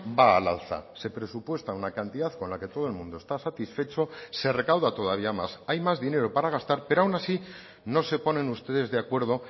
va al alza se presupuesta una cantidad con la que todo el mundo está satisfecho se recauda todavía más hay más dinero para gastar pero aun así no se ponen ustedes de acuerdo